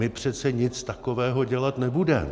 My přece nic takového dělat nebudeme.